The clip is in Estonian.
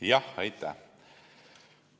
Aitäh!